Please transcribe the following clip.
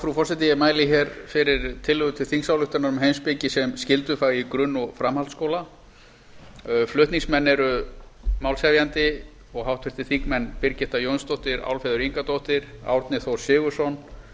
frú forseti ég mæli hér fyrir tillögu til þingsályktunar um heimspeki sem skyldufag í grunn og framhaldsskóla flutningamenn eru málshefjandi og háttvirtir þingmenn birgitta jónsdóttir álfheiður ingadóttir árni þór sigurðsson